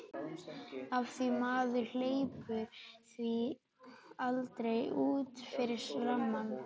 Af því maður hleypir því aldrei út fyrir rammann.